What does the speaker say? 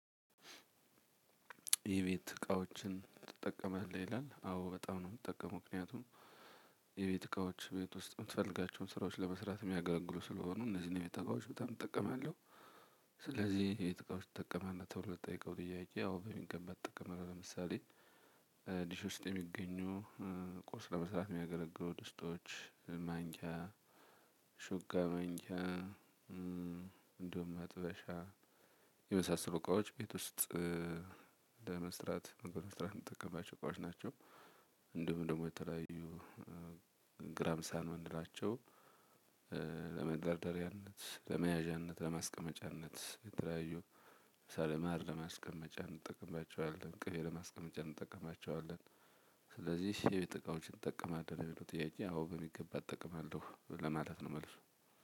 የቤት እቃዎችን ትጠቀማለህ ይላል አዎ በጣም ነው የምትጠቀመው ምክንያቱም እቃዎች ቤት ውስጥ የምትፈልጋቸውን ስራዎች ለመስራት የሚያገለግሉ ስለሆኑ እነዚህን የቤት እቃዎች በጣም እጠቀማለሁ። ስለዚህ የጥቃቶች ትጠቀማለህ ተብሎ ለተጠይቀው ትያቄቂ ያው በሚገባ እጠቀማለሁ ለምሳሌ ዲሽ ውስጥ የሚገኙ ቁስ ለመስራት የሚያገለግሉ ድስቶች ማንክያ ሹካ እንደሁም መጥበሻ የመሳሰሉ እቃዎች ቤት ውስጥ ለመስራት በመስራት የምትጠቀማቸው እቃዎች ናቸው። እንሁም ደግሞ የተለያዩ ግራም ሳን ምንላቸው ለመደርደሪያነት ለመያዣነት ለመስቀመጫነት የተለያዩ ሰለማር ለማስቀመጫ እንጠቀምባቸዋለን ቅቤ ለማስቀመጫ እንጠቀምባቸዋለን። ስለዚህ የቤት እቃወቺን ትጠቀማለሁ ለሚለው ጥያቄ አዎ በሚገባ እጠቀማለሁ ለማለት ነው። መልሱ